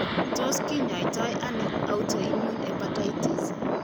Tos' kinyaitonano autoimmune hepatitis?